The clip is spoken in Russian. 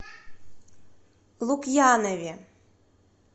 лукьянове